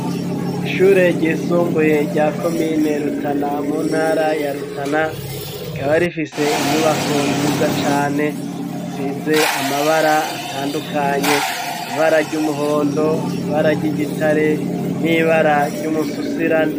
Ishure ryisumbuye rya komine Rutana mu ntara ya rutana rikaba rifise inyubako nziza cane isize amabara atandukanye ibara ry'umuhondo ibara ry'igitare n'ibara ry'umususirane.